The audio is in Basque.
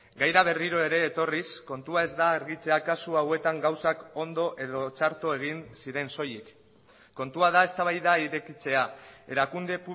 gaira berriro ere etorriz kontua ez da argitzea kasu hauetan gauzak ondo edo txarto egin ziren soilik kontua da eztabaida irekitzea erakunde